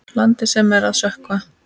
Landi sem er að sökkva.